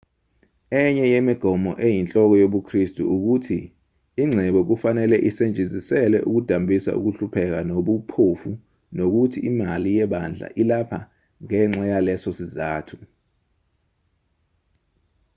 enye yemigomo eyinhloko yobukristu ukuthi ingcebo kufanele isetshenziselwe ukudambisa ukuhlupheka nobuphofu nokuthi imali yebandla ilapho ngenxa yaleso sizathu